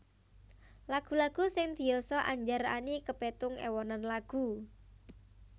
Lagu lagu sing diyasa Andjar Any kapétung ewonan lagu